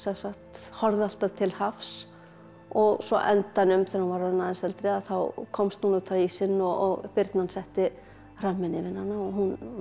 horfði alltaf til hafs og svo á endanum þegar hún var orðin eldri þá komst hún út á ísinn og birnan setti hramminn yfir hana og hún varð